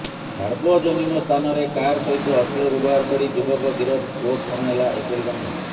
ସାର୍ବଜନିକ ସ୍ଥାନରେ କାର ସହିତ ଅଶ୍ଳୀଳ ବ୍ୟବହାର କରି ଯୁବକ ଗିରଫ କୋର୍ଟ ଶୁଣାଇଲା ଏପରି ଦଣ୍ଡ